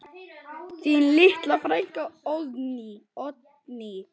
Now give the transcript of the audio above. Þín litla frænka, Oddný.